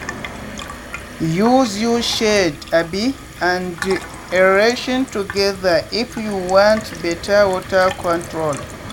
use use shade um and aeration together if you want better water control.